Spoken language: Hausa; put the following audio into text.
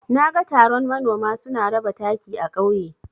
Naga taron manoma suna raba taki a ƙauye.